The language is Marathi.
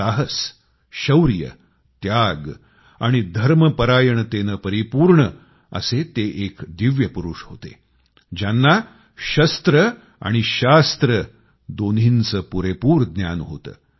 साहस शौर्य त्याग आणि धर्मपरायणतेने परिपूर्ण असे ते एक दिव्य पुरुष होते ज्यांना शस्त्र आणि शास्त्र दोन्हींचे पुरेपूर ज्ञान होते